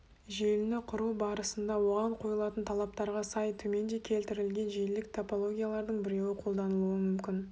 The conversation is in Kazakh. желіні құру барысында оған қойылатын талаптарға сай төменде келтірілген желілік топологиялардың біреуі қолданылуы мүмкін